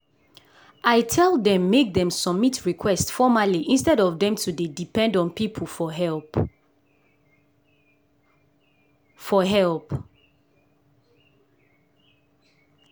i tell dem make dem submit request formerly instead of dem to dey depend on people for help. for help.